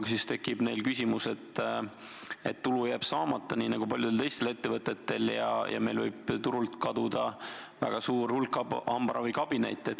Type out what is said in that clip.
Aga siis tekib neil küsimus, et tulu jääb saamata, nii nagu paljudel teistel ettevõtetel, ja meil võib turult kaduda väga suur hulk hambaravikabinette.